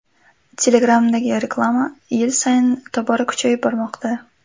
Telegram’dagi reklama yil sayin tobora kuchayib bormoqda.